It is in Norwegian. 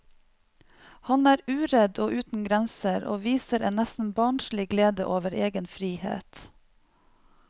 Han er uredd og uten grenser og viser en nesten barnslig glede over egen frihet.